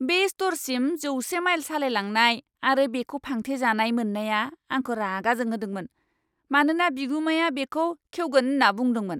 बे स्ट'रसिम जौसे माइल सालायलांनायआरो बेखौ फांथेजानाय मोननाया आंखौ रागा जोंहोदोंमोन, मानोना बिगुमाया बेखौ खेवगोन होन्ना बुंदोंमोन!